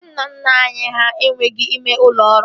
Ndị nna nna anyị ha enweghị ime ụlọ ọrụ